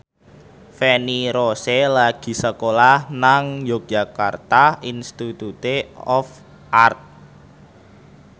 Feni Rose lagi sekolah nang Yogyakarta Institute of Art